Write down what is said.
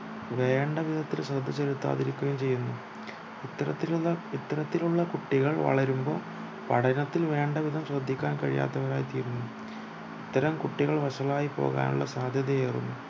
വേണ്ട വിധത്തിൽ ശ്രദ്ധ ചിലതാതിരിക്കുകയും ചെയ്യുന്നു ഇത്തരതിലുള്ള ഇത്തരതിലുള്ള കുട്ടികൾ വളരുമ്പോൾ പഠനത്തിൽ വേണ്ടവിധം ശ്രദ്ധിക്കാൻ കഴിയാത്തവരായി തീരുന്നു